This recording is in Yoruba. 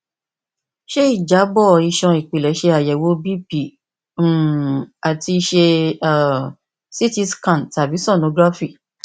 ṣe ijabọ iṣan ipilẹ ṣayẹwo bp um ati ṣe um ct scan tabi sonography